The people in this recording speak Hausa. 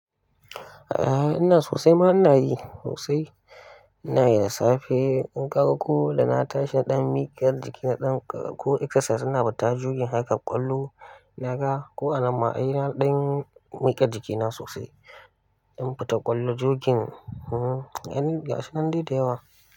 Eh ina sosai ma ina yi sosai. Ina yi da safe. Ni kaga ko dana tashi nadan mikiyar jiki nadan ko exercise ina fita jogin haka kwallo naga. Ko a nan ma ai dan mika jiki na sosai. In fita kwallo jogin. Eh, aini ga shinan dai da yawa.